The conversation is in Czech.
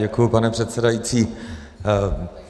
Děkuji, pane předsedající.